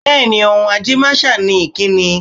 Bẹ́ẹ̀ ni, ohun ajẹ́máṣà ni ìkíni.